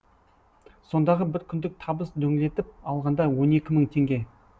сондағы бір күндік табыс дөңлетіп алғанда он екі мың теңге